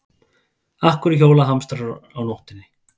Af hverju hjóla hamstrar á nóttinni?